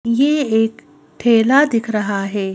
ये एक ठेला दिख रहा है।